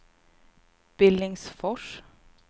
Billingsfors